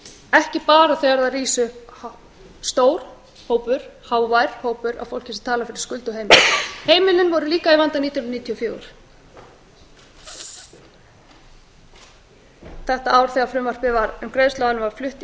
ekki bara þegar það rís upp stór hópur hávær hópur af fólki sem talar fyrir skuldug heimili heimilin voru líka í vanda nítján hundruð níutíu og fjögur þetta ár þegar frumvarpið um greiðsluaðlögun var flutt í